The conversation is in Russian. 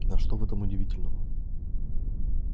на что в этом удивительного